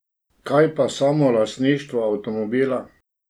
Kaj pa samo lastništvo avtomobila?